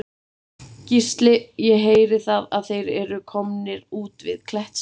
Gísli: Ég heyri það að þeir eru komnir út við Klettsnef?